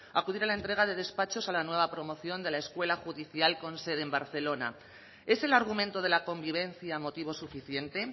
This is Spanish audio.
acudir a la entrega de despachos a la nueva promoción de la escuela judicial con sede en barcelona es el argumento de la convivencia motivo suficiente